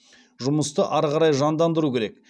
жұмысты ары қарай жандандыру керек